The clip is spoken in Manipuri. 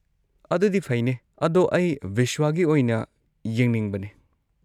ꯑꯗꯨꯗꯤ ꯐꯩꯅꯦ, ꯑꯗꯣ ꯑꯩ ꯕꯤꯁ꯭ꯋꯥꯒꯤ ꯑꯣꯏꯅ ꯌꯦꯡꯅꯤꯡꯕꯅꯦ꯫